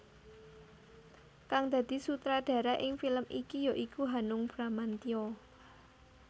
Kang dadi sutradara ing film iki ya iku Hanung Bramantya